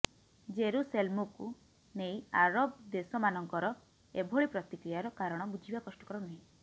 ଜେରୁସେଲମ୍କୁ ନେଇ ଆରବ ଦେଶମାନଙ୍କର ଏଭଳି ପ୍ରତିକ୍ରିୟାର କାରଣ ବୁଝିବା କଷ୍ଟକର ନୁହେଁ